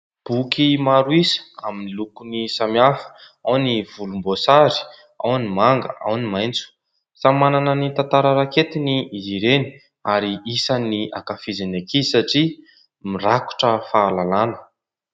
Boky maro isa amin'ny lokony samy hafa, ao ny volomboasary, ao ny manga, ao ny maitso. Samy manana ny tantara raketiny izy ireny ary isany ankafiziny ankizy satria mirakotra fahalalàna.